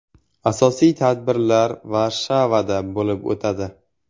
Asosiy tadbirlar Varshavada bo‘lib o‘tadi.